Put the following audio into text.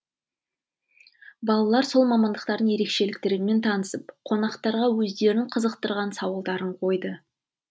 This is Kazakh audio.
балалар сол мамандықтардың ерекшеліктерімен танысып қонақтарға өздерін қызықтырған сауалдарын қойды